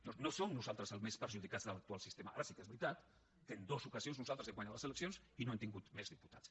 no no som nosaltres els més perjudicats de l’actual sistema ara sí que és veritat que en dues ocasions nosaltres hem guanyat les eleccions i no hem tingut més diputats